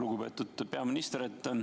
Lugupeetud peaminister!